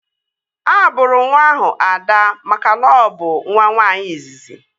A bụrụ nwa ahụ Ada makana ọ bụ nwa nwaanyị izizi